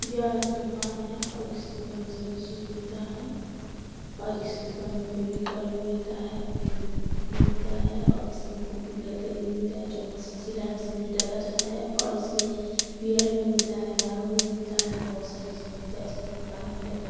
यह दुकान है और इस दुकान में सभी चीज मिलता है और इस दुकान में फेविकोल भी मिलता है फेवीक्विक भी मिलता है और इसमें कुपि वाला तेल भी मिलता है जो मस्त सिलाई मशीन में डाला जाता है और इसमें बियर में मिलता है दारू भी मिलता है बहुत सारी चीज मिलता है इसमें खाने-पीने का --